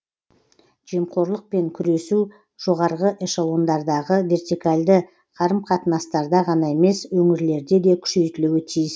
жемқорлықпен күресу жоғарғы эшелондардағы вертикальді қарым қатынастарда ғана емес өңірлерде де күшейтілуі тиіс